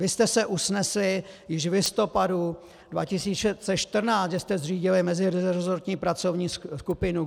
Vy jste se usnesli již v listopadu 2014, že jste zřídili meziresortní pracovní skupinu.